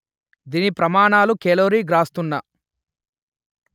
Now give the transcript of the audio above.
దీని ప్రమాణాలు కెలోరీ/గ్రాసున్న